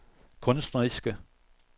kunstneriske